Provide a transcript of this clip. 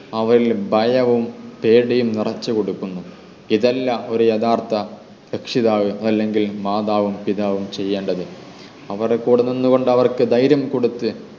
അവരിൽ ഭയവും പേടിയും നിറച്ചു കൊടുക്കുന്നു ഇത് അല്ല ഒരു യഥാർത്ഥ രക്ഷിതാവ് അല്ലെങ്കിൽ മാതാവും പിതാവും ചെയ്യേണ്ടത് അവരുടെ കൂടെ നിന്ന് കൊണ്ട് അവർക്ക് ധൈര്യം കൊടുത്ത